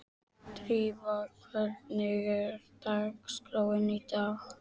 Drífa, hvernig er dagskráin í dag?